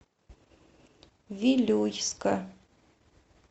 вилюйска